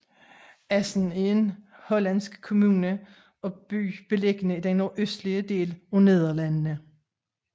Assen er en hollandsk kommune og by beliggende i den nordøstlige del af Nederlandene